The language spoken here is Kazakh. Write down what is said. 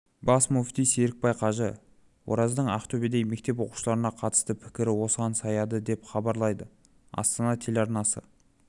бас муфти серікбай қажы ораздың ақтөбедегі мектеп оқушыларына қатысты пікірі осыған саяды деп хабарлайды астана телеарнасы